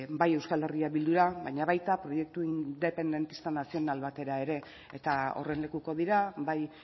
bai euskal herria bildura baina baita proiektu independista nazional batera ere eta horren lekuko dira bai